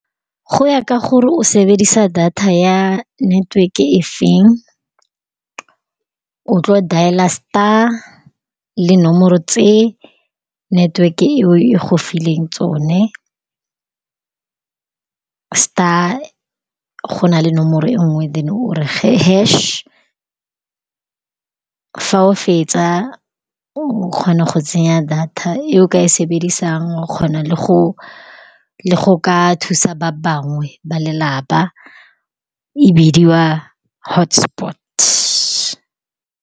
Go ya ka gore o sebedisa data ya neteweke e feng, o tlile go dialer star le dinomoro tse network-e eo e gofileng tsone. Star, go na le nomoro e nngwe then-e o re hash-e. Fa o fetsa, o kgona go tsenya data e o ka e sebedisang. O kgona le go, le go ka thusa ba bangwe ba lelapa, e bidiwa hotspot-e.